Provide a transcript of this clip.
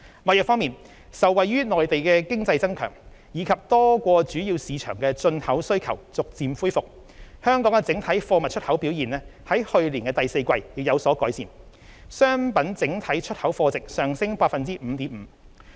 貿易方面，受惠於內地經濟增強，以及多個主要市場的進口需求逐漸恢復，香港整體貨物出口表現在去年第四季亦有所改善，商品整體出口貨值上升 5.5%。